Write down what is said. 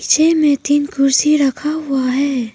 पीछे में तीन कुर्सी रखा हुआ है।